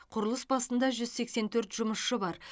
құрылыс басында жүз сексен төрт жұмысшы бар